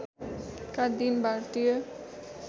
का दिन भारतीय